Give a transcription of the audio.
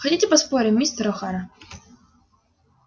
хотите поспорим мистер охара